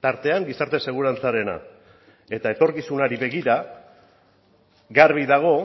tartean gizarte segurantzarena eta etorkizunari begira garbi dago